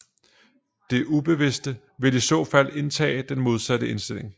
Det ubevidste vil i så fald indtage den modsatte indstilling